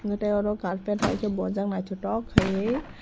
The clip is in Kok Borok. hwnkhe tei oro carpet haikhe bojak naithotok khaiui.